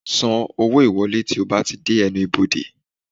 San owó ìwọlé tí o bá ti dé ẹnu ibodè